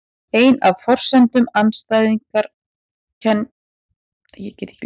Ein af forsendum afstæðiskenningarinnar er að ljóshraðinn í tómarúmi mælist alltaf sá sami.